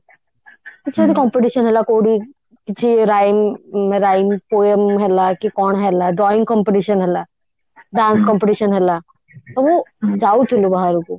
କିଛି ଯଦି competition ହେଲା କଉଠି କିଛି rhyme poem ହେଲା କି କଣ ହେଲା drawing competition ହେଲା dance competition ହେଲା ତ ଯାଉଥିଲୁ ବାହାରକୁ